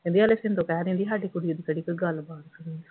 ਕਹਿੰਦੀ ਹਾਲੇ ਸ਼ਿੰਦੋ ਕਹਿ ਦਿੰਦੀ ਸਾਡੀ ਕੁੜੀ ਦੀ ਕਿਹੜੀ ਕੋਈ ਗੱਲਬਾਤ ਆ